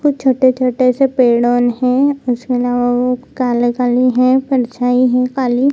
कुछ छोटे-छोटे से पेड़ ऑन है उसमे ना उ काले-काली है परछाई है काली।